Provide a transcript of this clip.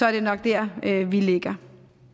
er det nok der vi ligger